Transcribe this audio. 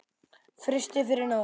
Frystið yfir nótt.